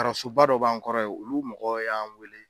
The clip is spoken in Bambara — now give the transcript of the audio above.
Arasoba dɔ b'an kɔrɔ ye olu mɔgɔw y'an weele